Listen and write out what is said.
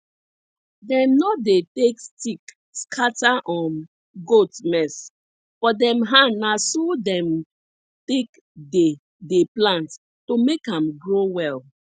dem nor dey take stick scatter um goat mess for dem hand na so dem take dey dey plant to make am grow well